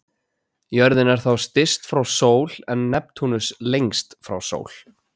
Jörðin er þá styst frá sól en Neptúnus lengst frá sól.